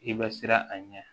I bɛ siran a ɲɛ